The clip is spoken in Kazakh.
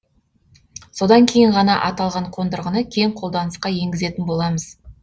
содан кейін ғана аталған қондырғыны кең қолданысқа енгізетін боламыз